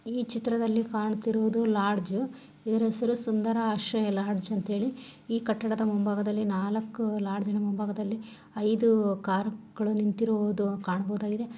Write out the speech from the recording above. ಈ ಚಿತ್ರದಲ್ಲಿ ಕಾಣುತ್ತಿರುವುದು ಲಾಡ್ಜ್ .ಇದರ ಹೆಸರು ಸುಂದರ ಆಶ್ರಯ ಲಾಡ್ಜ ಅಂತ ಹೇಳಿ ಈ ಕಟ್ಟಡದ ಮುಂಭಾಗದಲ್ಲಿ ನಾಲಕ್ಕೂ ಲಾಡ್ಜ್ನ ಮುಂಭಾಗದಲ್ಲಿ ಐದು ಕಾರ್ ಗಳು ನಿಂತಿರುವುದು ಕಾಣಬಹುದಾಗಿದೆ.